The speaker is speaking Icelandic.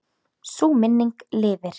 Sú minning lifir.